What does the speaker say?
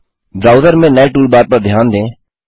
browser में नये toolbar पर ध्यान दें